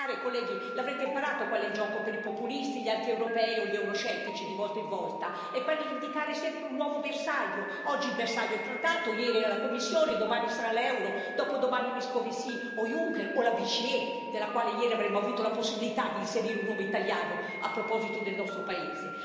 Colleghi, l'avrete imparato qual è il gioco per i populisti, gli antieuropei o gli euroscettici, di volta in volta è quello di indicare sempre un nuovo bersaglio, oggi il bersaglio è il trattato, ieri era la Commissione, domani sarà l'euro, dopodomani Moscovici o Juncker o la BCE, nella quale ieri avremmo avuto la possibilità di inserire un nome italiano, a proposito del nostro paese.